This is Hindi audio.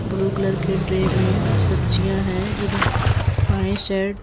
ब्लू कलर के ट्रे में सब्जियां हैं इधर बाएं--